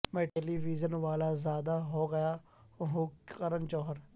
میں television والا زیادہ ہو گیا ہوں کرن جوہر